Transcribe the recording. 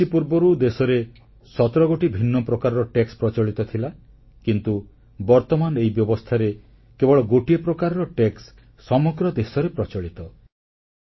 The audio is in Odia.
ଜିଏସଟି ପୂର୍ବରୁ ଦେଶରେ 17 ଗୋଟି ଭିନ୍ନ ପ୍ରକାରର ଟିକସଶୁଳ୍କ ପ୍ରଚଳିତ ଥିଲା କିନ୍ତୁ ବର୍ତ୍ତମାନ ଏହି ବ୍ୟବସ୍ଥାରେ କେବଳ ଗୋଟିଏ ପ୍ରକାରର ଟିକସ ସମଗ୍ର ଦେଶରେ ପ୍ରଚଳିତ